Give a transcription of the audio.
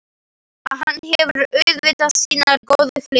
Hann hefur auðvitað sínar góðu hliðar.